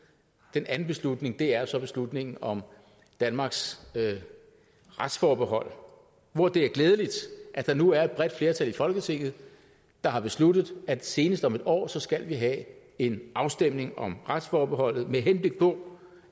den anden beslutning er så beslutningen om danmarks retsforbehold hvor det er glædeligt at der nu er et bredt flertal i folketinget der har besluttet at vi senest om en år skal have en afstemning om retsforbeholdet med henblik på